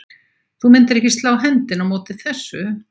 Þú myndir ekki slá hendinni á móti þessu?